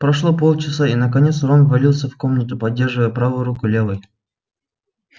прошло полчаса и наконец рон ввалился в комнату поддерживая правую руку левой